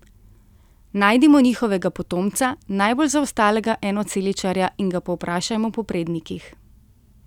Najdimo njihovega potomca, najbolj zaostalega enoceličarja, in ga povprašajmo po prednikih.